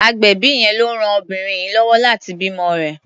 Agbẹ̀bí yẹn ló ran obìnrin yìí lọ́wọ́ láti bímọ rẹ̀.